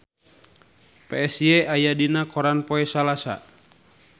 Psy aya dina koran poe Salasa